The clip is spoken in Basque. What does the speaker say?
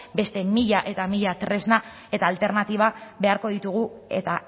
beste mila eta mila tresna eta alternatiba beharko ditugu eta